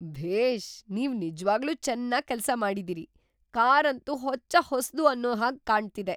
ಭೇಷ್! ನೀವ್ ನಿಜ್ವಾಗ್ಲೂ ಚೆನ್ನಾಗ್ ಕೆಲ್ಸ ಮಾಡಿದೀರಿ. ಕಾರ್‌ ಅಂತೂ ಹೊಚ್ಚ ಹೊಸ್ದು ಅನ್ನೋ ಹಾಗ್ ಕಾಣ್ತಿದೆ!